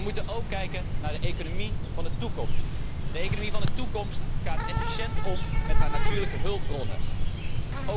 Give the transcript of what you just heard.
Wij moeten echter ook kijken naar de economie van de toekomst. De economie van de toekomst gaat efficiënt met haar natuurlijke hulpbronnen om.